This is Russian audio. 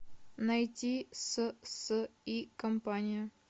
найти с с и компания